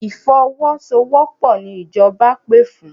Ìfọwọ́sowọ́pọ̀ ni ìjọba pè fún.